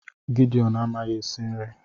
Gideon amaghị esi nri